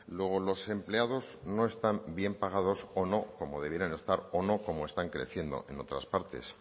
luego los empleados no están bien pagados o no como debieran estar o no como están creciendo en otras partes